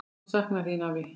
Ég mun sakna þín, afi.